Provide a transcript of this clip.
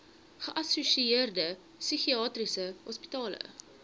geassosieerde psigiatriese hospitale